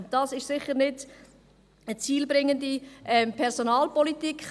Dies ist sicher keine zielführende Personalpolitik;